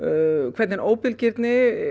hvernig óbilgirnin